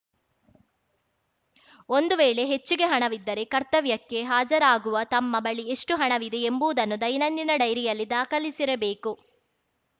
ಒಂದು ವೇಳೆ ಹೆಚ್ಚಿಗೆ ಹಣವಿದ್ದರೆ ಕರ್ತವ್ಯಕ್ಕೆ ಹಾಜರಾಗುವಾಗ ತಮ್ಮ ಬಳಿ ಎಷ್ಟುಹಣವಿದೆ ಎಂಬುವುದನ್ನು ದೈನಂದಿನ ಡೈರಿಯಲ್ಲಿ ದಾಖಲಿಸಿರಬೇಕು